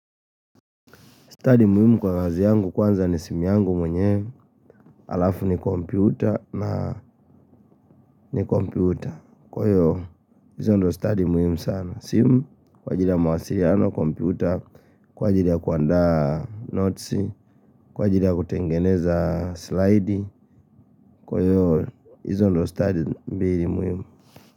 Study muhimu kwa kazi yangu, kwanza ni simu yangu mwenyewe, halafu ni kompyuta, na ni kompyuta. Kwa hiyo, hizo ndio study muhimu sana. Simu, kwa ajili ya mawasiliano, kompyuta, kwa ajili ya kuandaa notes, kwa ajili ya kutengeneza slide, kwa hiyo hizo ndio study mbili muhimu.